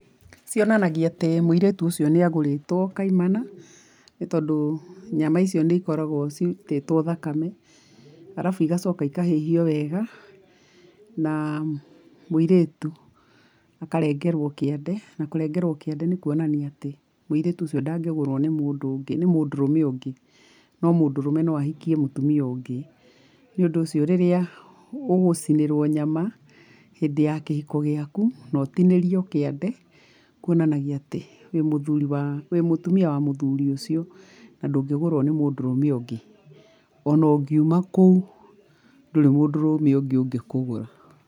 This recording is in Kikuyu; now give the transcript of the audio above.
Cionanagia atĩ mũirĩtu ũcio nĩ agũrĩtwo kaimana , nĩ tondũ nyama icio nĩ ikoragwo ciitĩtwo thakame, arabu igacoka ikahĩhio wega, na mũiritu akarengerwo kĩande, na kũrengerwo kĩande nĩ kuonania atĩ, mũirĩtu ũcio ndagĩgũrwo nĩ mũndũ ũngĩ, nĩ mũndũrume ũngĩ. No mũndũrũme no ahikie mũtumia ũngĩ. Ni ũndũ ũcio rĩrĩa ũgũcinĩrwo nyama, hindĩ ya kĩhiko gĩaku na ũtinĩrio kĩande, kuonanagia atĩ, wĩ mũthuri wa, wĩ mũtumia wa mũthuri ũcio na ndũngĩgũrwo nĩ mũndũrũme ũngĩ, ona ũngiuma kũu, ndũrĩ mũndũrũme ũngĩ ũngĩkũgũra.